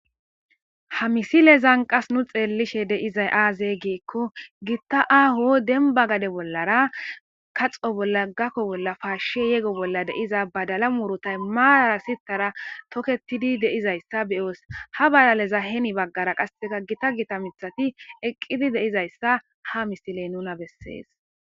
Ha misilezan qas nu xelishe de'izay aaze gikon Gita aaho demba gade bollara kaxo bolla, gako bolla, pashe yego bolla de'iza badala murutay mara sitara toketid de'izaysa beyos, ha badalaza heni bagara qaseka gita Gita mithati eqid de'izaysa ha misiley nuna beses.